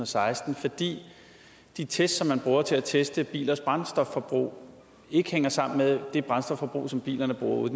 seksten fordi de test som man bruger til at teste bilers brændstofforbrug ikke hænger sammen med det brændstofforbrug som bilerne bruger ude